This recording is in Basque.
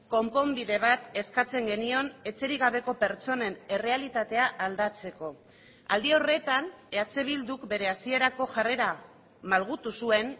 konponbide bat eskatzen genion etxerik gabeko pertsonen errealitatea aldatzeko aldi horretan eh bilduk bere hasierako jarrera malgutu zuen